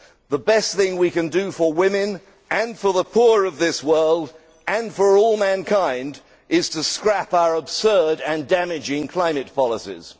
The best thing we can do for women, for the poor of this world and for all mankind is to scrap our absurd and damaging climate policies.